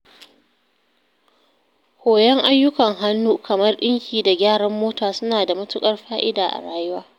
koyon ayyukan hannu kamar ɗinki da gyaran mota suna da matuƙar fa’ida a rayuwa.